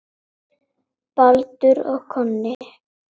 Baldur og Konni